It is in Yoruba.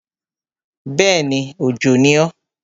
Bẹ́ẹ̀ni, Òjò ni o.